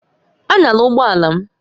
Anyala ụgbọ ala m!